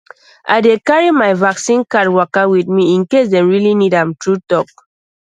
i dey carry my vaccine card waka with me in case dem really need am true talk